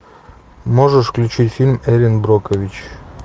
можешь включить фильм эрин брокович